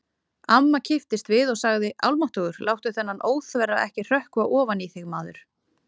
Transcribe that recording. Amma kipptist við og sagði: Almáttugur, láttu þennan óþverra ekki hrökkva ofan í þig, maður